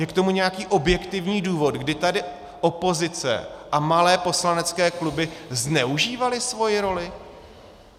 Je k tomu nějaký objektivní důvod, kdy tady opozice a malé poslanecké kluby zneužívaly svoji roli?